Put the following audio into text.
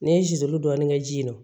N'i ye ju dɔɔnin kɛ ji ye nɔ